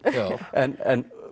en